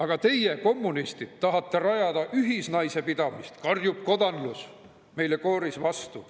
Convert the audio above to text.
Aga teie, kommunistid, tahate rajada ühisnaisepidamist, karjub kogu kodanlus meile kooris vastu.